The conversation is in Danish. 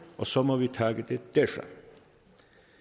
og så må vi tage den derfra